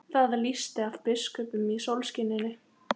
Það lýsti af biskupnum í sólskininu.